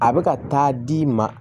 A bɛ ka taa d'i ma